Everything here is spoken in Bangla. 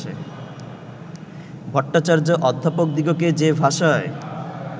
ভট্টাচার্য অধ্যাপকদিগকে যে ভাষায়